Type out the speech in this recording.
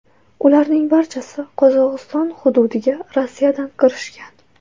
Ularning barchasi Qozog‘iston hududiga Rossiyadan kirishgan.